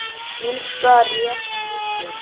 Illska réð ríkjum.